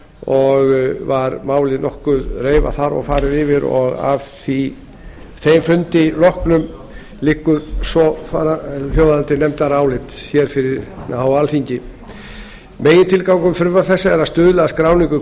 og var málið nokkuð reifað þar og að þeim fundi loknum liggur álitið fyrir nefndarálit um frumvarp til laga um íslenska alþjóðlega skipaskrá frá samgöngunefnd hljóðar þannig með leyfi forseta megintilgangur frumvarps þessa er að stuðla að skráningu